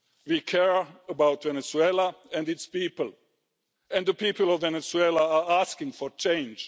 We care about Venezuela and its people, and the people of Venezuela are asking for change.